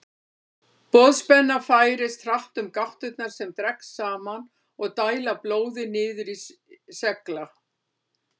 Boðspennan færist hratt um gáttirnar sem dragast saman og dæla blóði niður í slegla.